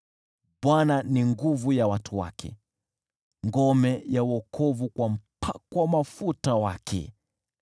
Bwana ni nguvu ya watu wake, ngome ya wokovu kwa mpakwa mafuta wake.